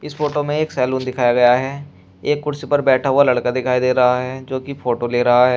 इस फोटो में एक सैलून दिखाया गया है एक कुर्सी पर बैठा हुआ लड़का दिखाई दे रहा है जो कि फोटो ले रहा है।